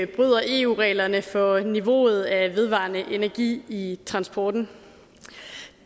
bryder eu reglerne for niveauet af vedvarende energi i transporten